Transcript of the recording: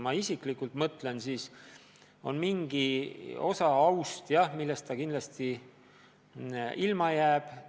Ma isiklikult mõtlen, et ta jääb ilma mingist osast oma aust – see on kindel.